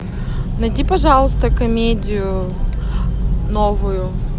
найди пожалуйста комедию новую